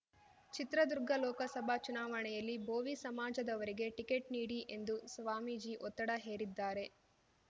ಚಿತ್ರದುರ್ಗ ಲೋಕಸಭಾ ಚುನಾವಣೆಯಲ್ಲಿ ಭೋವಿ ಸಮಾಜದವರಿಗೆ ಟಿಕೆಟ್‌ ನೀಡಿ ಎಂದು ಸ್ವಾಮೀಜಿ ಒತ್ತಡ ಹೇರಿದ್ದಾರೆ